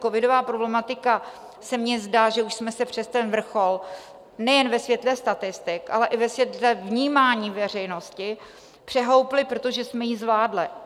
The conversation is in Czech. Covidová problematika, se mně zdá, že už jsme se přes ten vrchol nejen ve světle statistik, ale i ve světle vnímání veřejnosti přehoupli, protože jsme ji zvládli.